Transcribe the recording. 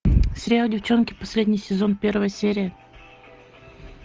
сериал девчонки последний сезон первая серия